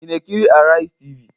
Ị na-ekiri Araizi Tv?